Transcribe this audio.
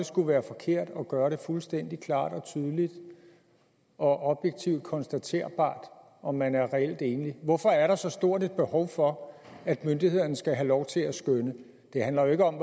skulle være forkert at gøre det fuldstændig klart og tydeligt og objektivt konstaterbart om man er reelt enlig hvorfor er der så stort et behov for at myndighederne skal have lov til at skønne det handler jo ikke om